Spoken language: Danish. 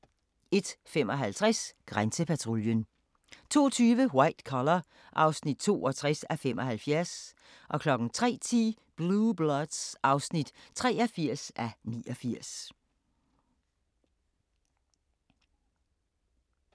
01:55: Grænsepatruljen 02:20: White Collar (62:75) 03:10: Blue Bloods (83:89)